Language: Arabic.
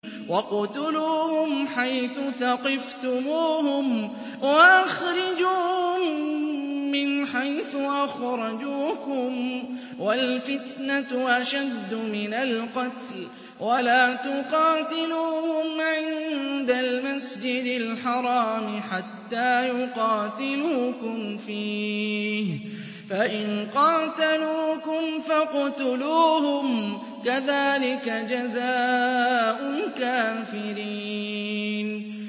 وَاقْتُلُوهُمْ حَيْثُ ثَقِفْتُمُوهُمْ وَأَخْرِجُوهُم مِّنْ حَيْثُ أَخْرَجُوكُمْ ۚ وَالْفِتْنَةُ أَشَدُّ مِنَ الْقَتْلِ ۚ وَلَا تُقَاتِلُوهُمْ عِندَ الْمَسْجِدِ الْحَرَامِ حَتَّىٰ يُقَاتِلُوكُمْ فِيهِ ۖ فَإِن قَاتَلُوكُمْ فَاقْتُلُوهُمْ ۗ كَذَٰلِكَ جَزَاءُ الْكَافِرِينَ